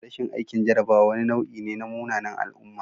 Rashin aikin jarrabawa wani nau'i ne na munanan al'umma